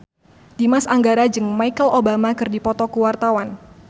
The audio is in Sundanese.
Dimas Anggara jeung Michelle Obama keur dipoto ku wartawan